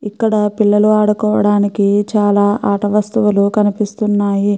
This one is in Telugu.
ఇక్కడ పిల్లలు ఆడుకోవడానికి చాలా ఆట వస్తువులూ కనిపిస్తున్నాయి.